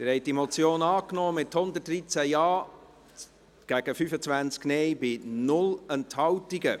Sie haben diese Motion angenommen, mit 113 Ja- zu 25 Nein-Stimmen bei 0 Enthaltungen.